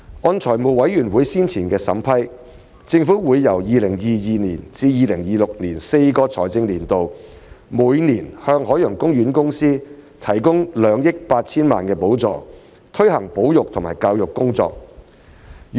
按財務委員會先前的審批，政府會由 2022-2023 至 2025-2026 的4個財政年度每年向海洋公園公司提供2億 8,000 萬元的補助，以推行保育和教育工作。